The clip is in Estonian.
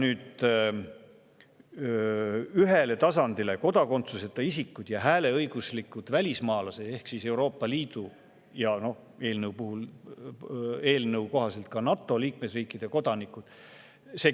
Ühele tasandile on pandud kodakondsuseta isikud ja hääleõiguslikud välismaalased ehk Euroopa Liidu ja eelnõu kohaselt ka NATO liikmesriikide kodanikud.